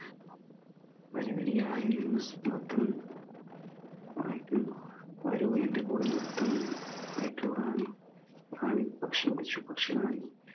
വരി വരി ആയി നിന്ന് ന്രത്തം ആരോ എന്റെ കൂടെ നിര്ത്തുന്നു റാണി പക്ഷിയെ വിളിച്ചു